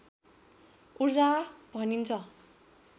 ऊर्जा भनिन्छ